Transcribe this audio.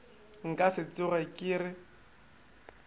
nka se tsoge ke le